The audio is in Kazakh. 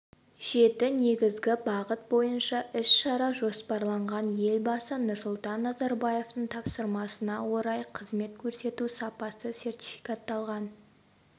жеті негізгі бағыт бойынша іс-шара жоспарланған елбасы нұрсұлтан назарбаевтың тапсырмасына орай қызмет көрсету сапасы сертификатталған